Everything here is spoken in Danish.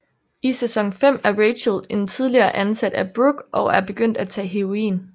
I sæson 5 er Rachel en tidligere ansat af Brooke og er begyndt at tage heroin